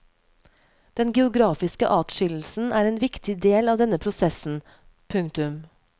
Den geografiske atskillelsen er en viktig del av denne prosessen. punktum